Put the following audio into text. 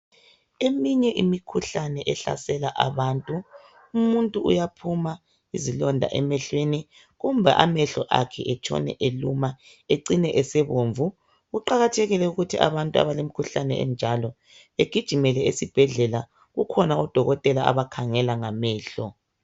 Eminye imikhuhlane ehlasela abantu umuntu uyaphuma izilonda emehlweni kumbe amehlo akhe etshone eluma ecine esebomvu. Kuqakathekile ukuthi abantu abalemkhuhlane enjalo, begijimele esibhedlela kukhona odokotela abakhangela ngamehlo.